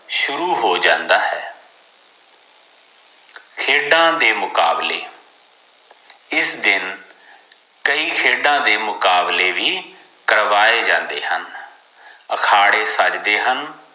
ਸ਼ੁਰੂ ਹੋ ਜਾਂਦਾ ਹੈ ਖੇਡਾਂ ਦੇ ਮੁਕਾਬਲੇ ਇਸ ਦਿਨ ਕਈ ਖੇਡਾਂ ਦੇ ਮੁਕਾਬਲੇ ਵੀ ਕਰਵਾਏ ਜਾਂਦੇ ਹਨ ਅਖਾੜੇ ਸਜਦੇ ਹਨ